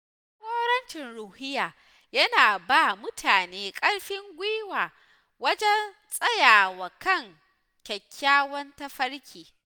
Jagorancin ruhiya yana ba mutane ƙarfin gwiwa wajen tsayawa kan kyakkyawan tafarki.